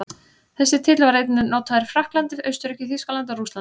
Þessi titill var einnig notaður í Frakklandi, Austurríki, Þýskalandi og Rússlandi.